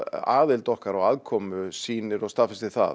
aðild okkar og aðkomu sýnir og staðfestir það